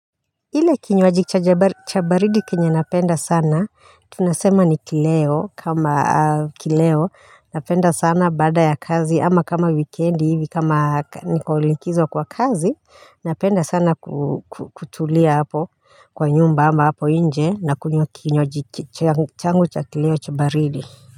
Ile kinywajio cha baridi kenya napenda sana tunasema ni kileo kama kileo napenda sana baada ya kazi ama kama wikendi hivi kama niko likizo kwa kazi napenda sana kutulia hapo kwa nyumba hapo nje nakunywa kinywaji changu cha kileo cha baridi.